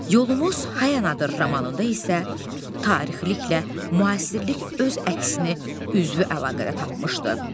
Yolumuz Həyanadır romanında isə, tarixiliklə müasirlik öz əksini üzvü əlaqədə tapmışdı.